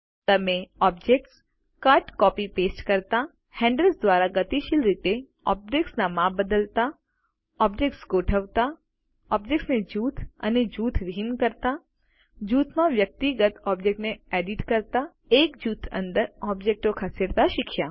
તમે160 objects cut copy paste કરતા handles દ્વારા ગતિશીલ રીતે ઓબ્જેક્ત્સના માપ બદલતા ઓબ્જેક્ત્સ ગોઠવતા ઓબ્જેક્ટો ને જૂથ અને જૂથવિહીન કરતા જૂથમાં વ્યક્તિગત ઓબ્જેક્ટોને એડિટ કરતા એક જૂથ અંદર ઓબ્જેક્ટો ખસેડતા શીખ્યા